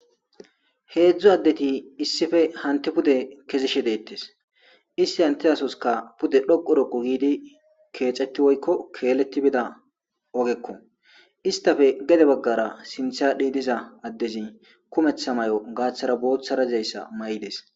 heedzdzu addeti issife hanti pude kezishe deettes issi hanti asoska pude dhoqu roqo giidi keeceti woykko keelletti bida ogekko istafe gede baggara sinthadhi diza addezi kumetha may7o gaaththara booththarazayssa may7ides